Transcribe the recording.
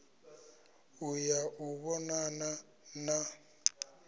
u ya u vhonana na